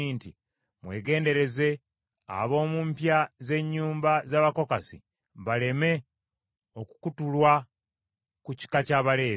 “Mwegendereze ab’omu mpya z’ennyumba z’Abakokasi baleme okukutulwa ku kika ky’Abaleevi.